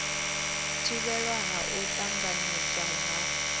thivhelwa ha u tanganedzwa ha